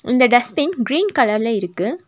இந்த dustbin green கலர்ல இருக்கு.